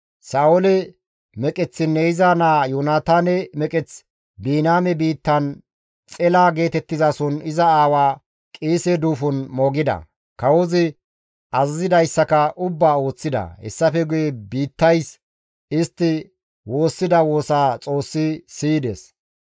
Sa7oole meqeththinne iza naa Yoonataane meqeth Biniyaame biittan Xela geetettizason iza aawa Qiise duufon moogida; kawozi azazidayssaka ubbaa ooththida. Hessafe guye biittays istti woossida woosaa Xoossi siyides.